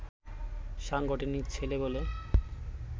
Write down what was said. সাংগঠনিক ছেলে বলে